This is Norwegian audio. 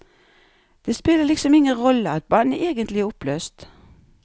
Det spiller liksom ingen rolle at bandet egentlig er oppløst.